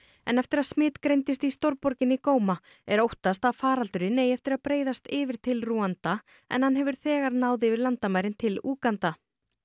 en eftir að smit greindist í borginni er óttast að faraldurinn eigi eftir breiðast yfir til Rúanda en hann hefur þegar náð yfir landamærin til Úganda